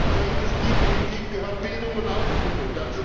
Zur Industriepolitik gehört Bildung und Ausbildung